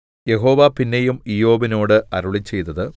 യഹോവ പിന്നെയും ഇയ്യോബിനോട് അരുളിച്ചെയ്തത്